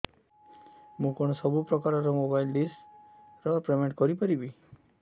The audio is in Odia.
ମୁ କଣ ସବୁ ପ୍ରକାର ର ମୋବାଇଲ୍ ଡିସ୍ ର ପେମେଣ୍ଟ କରି ପାରିବି